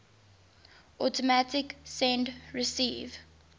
automatic send receive